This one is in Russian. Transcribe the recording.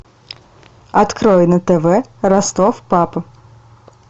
открой на тв ростов папа